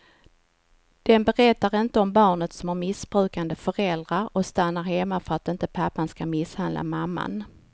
Den berättar inte om barnet som har missbrukande föräldrar och stannar hemma för att inte pappan ska misshandla mamman.